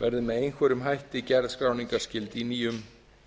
verði með einhverjum hætti gerð skráningarskyld í nýjum